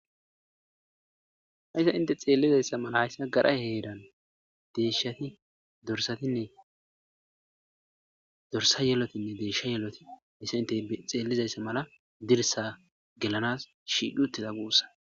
Hayssa inte xeellizayssa mala hayssa gadhay heeran deeshati dorssatinne dorssa yelotinne deesha yeeloti misa inte xeellizayssa mala dirssa gelanaas shiidhutiza guussa.